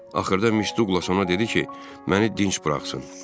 Axırda Miss Duqlas ona dedi ki, məni dinç buraxsın.